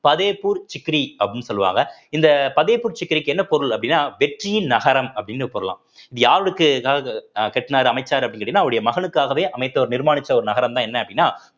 ஃபத்தேப்பூர் சிக்ரி அப்படின்னு சொல்லுவாங்க இந்த ஃபத்தேப்பூர் சிக்ரிக்கு என்ன பொருள் அப்படின்னா வெற்றியின் நகரம் அப்படின்னு கூறலாம் யாருக்கு அஹ் கட்டுனாரு அமைச்சாரு அப்படின்னு கேட்டீங்கன்னா அவருடைய மகனுக்காகவே அமைத்த ஒரு நிர்மானிச்ச ஒரு நகரம்தான் என்ன அப்படின்னா